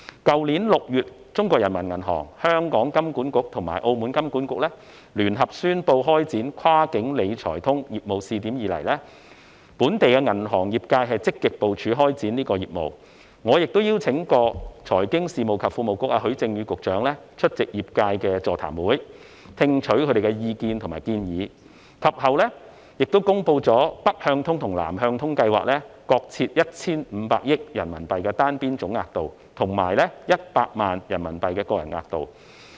去年6月，中國人民銀行、香港金融管理局及澳門金融管理局聯合宣布開展"跨境理財通"業務試點以來，本地銀行業界積極部署開展這項業務，我亦邀請過財經事務及庫務局局長許正宇出席業界的座談會，聽取業界人士的意見及建議，及後，當局公布了"北向通"及"南向通"計劃各設 1,500 億元人民幣的單邊總額度，以及100萬元人民幣的個人額度。